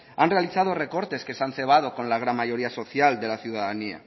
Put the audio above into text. han realizado recortes que se han cebado con la gran mayoría social de la ciudadanía